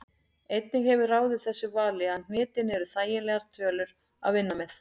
Einnig hefur ráðið þessu vali að hnitin eru þægilegar tölur að vinna með.